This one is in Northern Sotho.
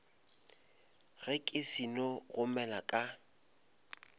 ge ke seno gomela ka